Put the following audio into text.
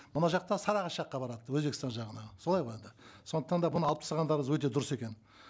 мына жақта сарыағаш жаққа барады өзбекстан жағына солай ғой енді сондықтан да бұны алып тастағандарыңыз өте дұрыс екен